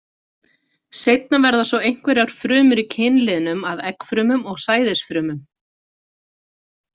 Seinna verða svo einhverjar frumur í kynliðnum að eggfrumum og sæðisfrumum.